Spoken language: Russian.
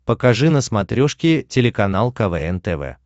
покажи на смотрешке телеканал квн тв